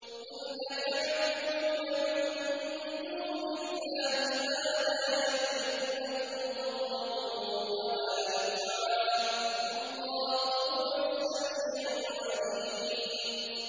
قُلْ أَتَعْبُدُونَ مِن دُونِ اللَّهِ مَا لَا يَمْلِكُ لَكُمْ ضَرًّا وَلَا نَفْعًا ۚ وَاللَّهُ هُوَ السَّمِيعُ الْعَلِيمُ